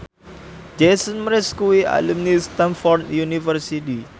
Jason Mraz kuwi alumni Stamford University